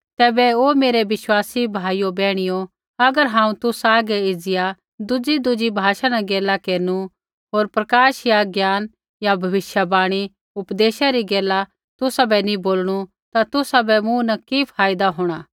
तैबै हे मेरै विश्वासी भाइयो बैहणियो अगर हांऊँ तुसा हागै एज़िया दुज़ीदुज़ी भाषा न गैला केरनु होर प्रकाश या ज्ञाना या भविष्यवाणी या उपदेश री गैला तुसाबै नी बोलणु ता तुसाबै मूँ न कि फायदा होंणा